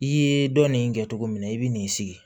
I ye dɔ nin kɛ cogo min na i bi n'i sigi